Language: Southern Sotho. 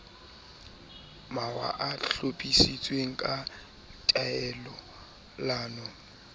mawa a hlophisitsweng ka tatellano